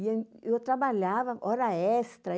E eu trabalhava hora extra.